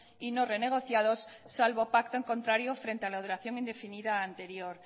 y no renegociados salvo pacto en contrario frente a la duración indefinida anterior